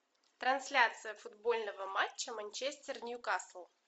трансляция футбольного матча манчестер ньюкасл